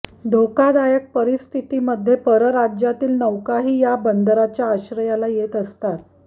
धोकादायक परिस्थितीमध्ये परराज्यातील नौकाही या बंदराच्या आश्रयाला येत असतात